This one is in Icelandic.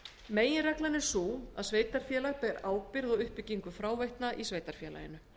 meginreglan er sú að sveitarfélag ber ábyrgð á uppbyggingu fráveitna í sveitarfélaginu